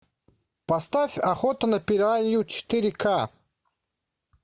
поставь охота на пиранью четыре ка